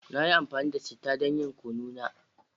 Na yi amfani da chittah don yin Kunu na